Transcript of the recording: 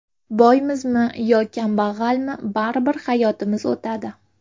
Boymizmi yo kambag‘almi, baribir hayotimiz o‘tadi.